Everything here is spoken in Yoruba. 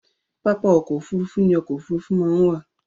Pápá ọkọ̀-òfurufú ní ọkọ̀-òfurufú máa ń wà.